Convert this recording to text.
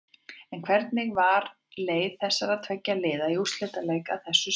En hvernig var leið þessara tveggja liða í úrslitaleikinn að þessu sinni?